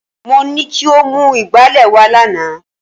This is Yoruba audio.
Mo ní kí o mú ìgbálẹ̀ wá lánàá